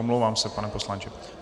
Omlouvám se, pane poslanče.